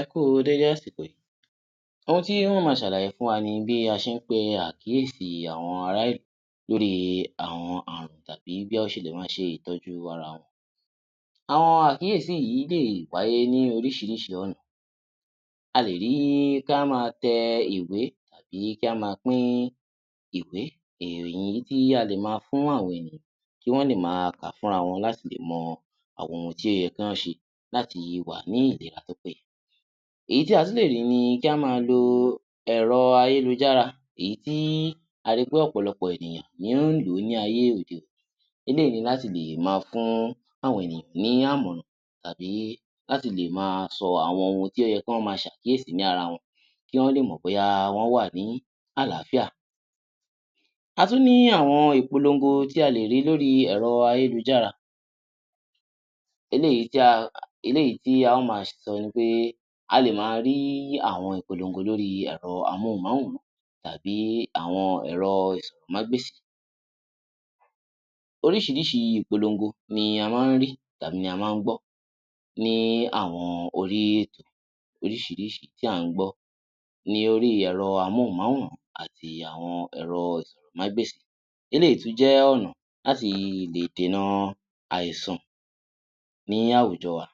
Ẹ kú u déédé àsìkò yí, ohun tí n ó ma ṣàlàyé fún wa ni bí a ṣe ń pe àkíyèsí àwọn ará ìlú lórí àwọn àrùn tàbí bí wọ́n ṣe lè ma ṣe ìtọ́jú arawọn. Àwọn àkíyèsí yìí lè wáyé ní oríṣiríṣi ọ̀nà a lè rí kí á ma tẹ ìwé tàbí kí á ma pín ìwé èyí tí a lè ma fún àwọn ènìyàn tí wọ́n lè ma kà fún rawọn kí wọ́n láti lè ma mọ ohun tí ó yẹ kí wọ́n ṣe láti wà ní ìlera tí ó péye. Èyí tí a tún lè rí ni kí á ma lo ẹ̀rọ ayélujára èyí tí a ri pé ọ̀pọ̀lọpọ̀ ènìyàn ni ó ń lò ó ní ayé òde-òni eléyìí ni láti lè ma fún àwọn ènìyàn ní àmọ̀ràn tàbí láti le è ma sọ àwọn ohun tí ó yẹ kí wọ́n ma ṣe àkíyèsí ní ara wọn kí wọ́n lè mọ̀ bóyá wọ́n wà ní àlááfíà. A tún ni àwọn ìpolongo tí a lè rí lórí ẹ̀rọ ayélujára eléyìí tí a ó ma sọ ni pé a lè ma rí àwọn ìpolongo lórí ẹ̀rọ amóhùnmáwòrán tàbí àwọn ẹ̀rọ asọ̀rọ̀mágbèsì. Oríṣiríṣi ìpolongo ni a má ń rí tàbí ni a má ń gbọ́ ní àwọn orí ètò oríṣiríṣi tí à ń gbọ́ ní orí ẹ̀rọ amóhùnmáwòrán àti àwọn ẹ̀rọ asọ̀rọ̀mágbèsì eléyìí tí ó jẹ́ ọ̀nà láti lè dènà àìsàn ní àwùjọ wa.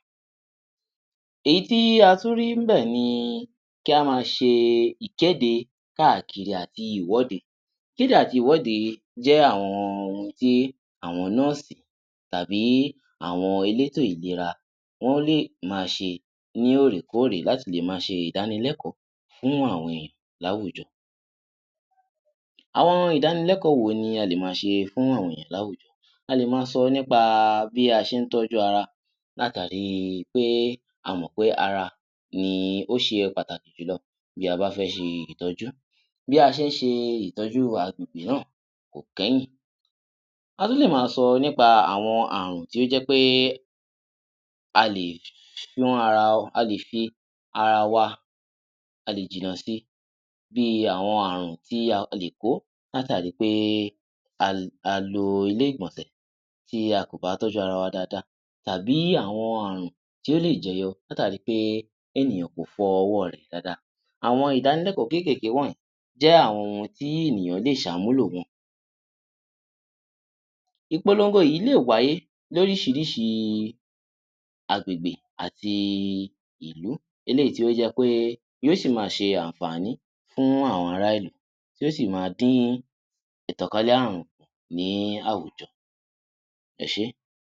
Èyí tí a tún rí níbẹ̀ ni kí á ma ṣe ìkéde káàkiri àti ìwọ́de, ìkéde àti ìwọ́de jẹ́ àwọn ohun tí àwọn nọ́ọ̀sì tàbí àwọn elétò ìlera wọ́n lè ma ṣé ní òrèkóòrè láti lè ma ṣe ìdánilẹ́kọ̀ọ́ fún àwọn ènìyàn láwùjọ. Àwọn ìdánilẹ́kọ̀ọ́ wo ni a lè ma ṣe fún àwọn ènìyàn láwùjọ. A lè ma sọ nípa bí a ṣe ń tọ́jú ara látàri pé a mọ̀ pé ara ni ó ṣe pàtàkì jùlọ bí a bá fẹ́ ṣe ìtọ́jú. Bí a ṣe ń ṣe ìtọ́jú agbègbè náà kò kẹ́yìn, a tún lè ma sọ nípa àwọn àrùn tí ó jẹ́ pé a lè fi ara wà, a lè jìnà si. Bí àwọn àrùn tí a lè kó látàrí pé a lo ilé-ìgbọ̀nsẹ̀ tí a kò bá tọ́jú ara wa dáadáa tàbí àwọn àrùn tí ó lè jẹyọ látàri pé ènìyàn kò fọ ọwọ́ rẹ̀ dáadáa. Àwọn ìdánilẹ́kọ̀ọ́ kékèké wọ̀nyí jẹ́ àwọn ohun tí ènìyàn lè ṣe àmúlò wọn. Ìpolongo yìí lè wáyé lóríṣiríṣi agbègbè àti ìlú eléyìí tí ó jẹ́ pé yóò sì ma ṣe àǹfàní fún àwọn ará ìlú tí ó sì ma dín ìtànkálè àrùn ní àwùjọ, ẹ ṣé.